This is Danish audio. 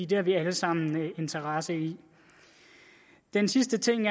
det har vi alle sammen interesse i den sidste ting